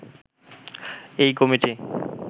এই কমিটি